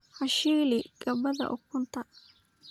Ha shiili gabadha ukunta.